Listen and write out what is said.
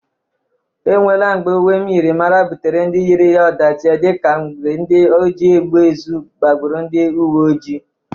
Enwela mgbe uwe myịrịmara butere ndị yiri ya ọdachị dị ka mgbe ndị oji egbe ezu gbagburu ndị uweojii.